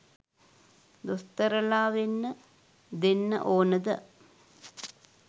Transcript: දොස්තරලා වෙන්න දෙන්න ඕනද?